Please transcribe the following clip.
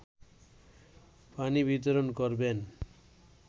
পানি বিতরণ করবেন